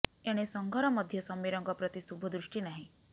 ଏଣେ ସଙ୍ଘର ମଧ୍ୟ ସମୀରଙ୍କ ପ୍ରତି ଶୁଭ ଦୃଷ୍ଟି ନାହିଁ